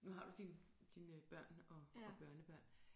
Nu har du din dine børn og og børnebørn